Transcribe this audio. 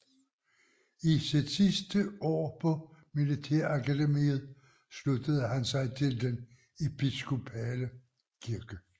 I sit sidste år på militærakademiet sluttede han sig til den episkopale kirke